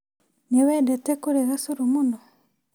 Nĩ wendete kũrĩga cũrũ mũno?